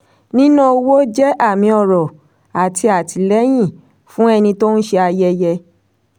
níná owó ní ayẹyẹ jẹ́ àmì ọrọ̀ àti àtìlẹ́yìn fún ẹni tó ń ṣe ayẹyẹ.